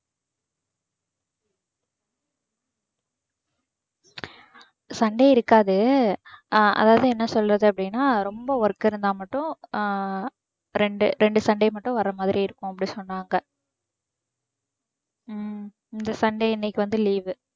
sunday இருக்காது. Ah அதாவது என்ன சொல்றது அப்படின்னா ரொம்ப work இருந்தா மட்டும் அஹ் ரெண்டு ரெண்டு sunday மட்டும் வர மாதிரி இருக்கும் அப்படின்னு சொன்னாங்க. உம் இந்த sunday இன்னைக்கு வந்து leave